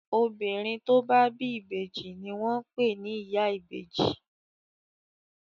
Obìnrin tó bá bí ìbejì ni wọ́n pè ni ìyá ìbejì.